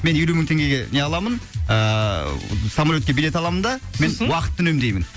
мен елу мың теңгеге не аламын ааа самолетке билет аламын да сосын мен уақытты үнемдеймін